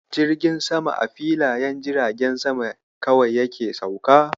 Jirgin saman a filayen jiragen sama kawai yake sauka.